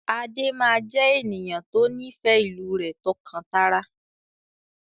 Adé máa jẹ ènìyàn to nifẹ ìlú rẹ tọ́kan-tara.